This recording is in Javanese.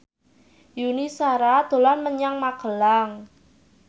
Yuni Shara dolan menyang Magelang